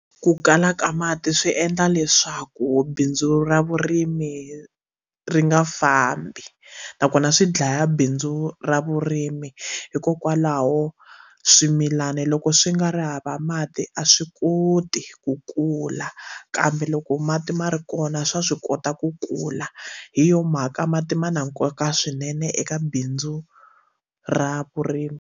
Ku kala ka mati swi endla leswaku bindzu ra vurimi ri nga fambi nakona swi dlaya bindzu ra vurimi hikokwalaho swimilana loko swi nga ri hava mati a swi koti ku kula kambe loko mati ma ri kona swa swi kota ku kula hi yona mhaka mati ma na nkoka swinene eka bindzu ra vurimi.